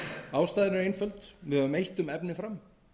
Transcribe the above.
ástæðan er einföld við höfum eytt um efni fram